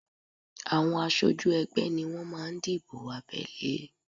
Àwọn aṣojú ẹgbẹ́ ni wọ́n máa ń dìbò abẹ́lé